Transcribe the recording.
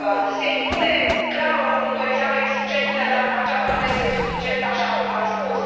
Se impune, clar, o monitorizare exigentă, dar aceasta nu este suficientă, așa cum am spus.